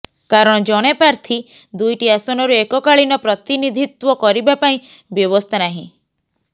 କାରଣ ଜଣେ ପ୍ରାର୍ଥୀ ଦୁଇଟି ଆସନରୁ ଏକକାଳୀନ ପ୍ରତିନିଧିତ୍ୱ କରିବା ପାଇଁ ବ୍ୟବସ୍ଥା ନାହିଁ